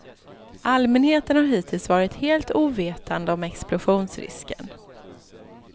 Allmänheten har hittills varit helt ovetande om explosionsrisken.